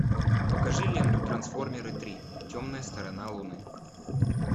покажи ленту трансформеры три темная сторона луны